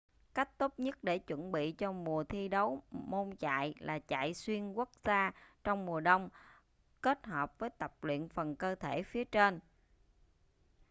cách tốt nhất để chuẩn bị cho mùa thi đấu môn chạy là chạy xuyên quốc gia trong mùa đông kết hợp với tập luyện phần cơ thể phía trên